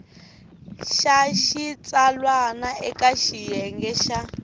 xa xitsalwana eka xiyenge xa